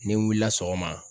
N'i wulila sɔgɔma.